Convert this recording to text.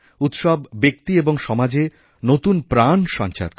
উৎসবব্যক্তি এবং সমাজে নতুন প্রাণ সঞ্চার করে